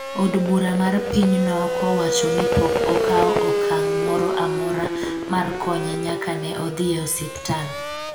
od bura mar pinyno kowacho ni pok okawo okang' moro amora mar konye nyaka ne odhi e osiptal